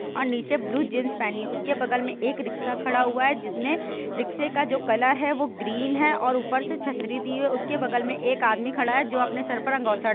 ओर नीचे blue jeans पहनी है। उसके बगल मे एक रिक्शा खड़ा हुआ है जिसमें रिक्शे का जो कलर है वो ग्रीन है और उपर से छतरी दी है। उसके बगल मे एक आदमी खड़ा है जो अपने सर पर अंगोछा ड ---